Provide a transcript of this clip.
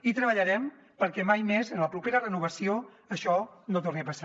i treballarem perquè mai més en la propera renovació això no torni a passar